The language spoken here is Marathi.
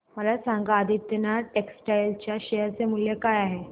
मला सांगा आदिनाथ टेक्स्टटाइल च्या शेअर चे मूल्य काय आहे